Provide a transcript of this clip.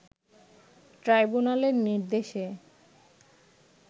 ট্রাইব্যুনালের নির্দেশে